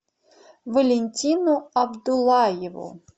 валентину абдуллаеву